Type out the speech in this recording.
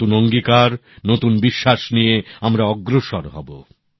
নতুন অঙ্গীকার নতুন বিশ্বাস নিয়ে আমরা অগ্রসর হবো